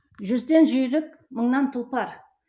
жүзден жүйрік мыңнан тұлпар